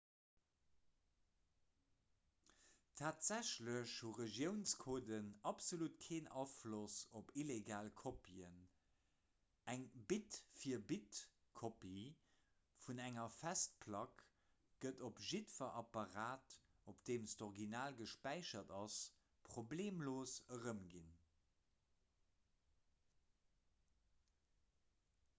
tatsächlech hu regiounscoden absolut keen afloss op illegal kopien eng bit-fir-bit-kopie vun enger festplack gëtt op jiddwer apparat op deem d'original gespäichert ass problemlos erëmginn